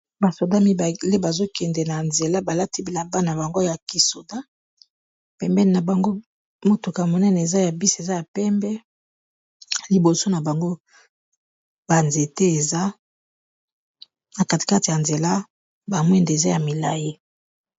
Ba soda mibale bazo kende na nzela ba lati bilaba na bango ya kisoda pembeni na bango motuka monene eza ya bisi eza ya pembe liboso na bango ba nzete eza na katikati ya nzela ba mwinda eza ya milai.